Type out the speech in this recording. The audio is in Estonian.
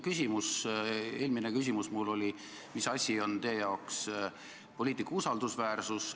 Eelmine küsimus oli mul see, mis asi on teie arvates poliitiku usaldusväärsus.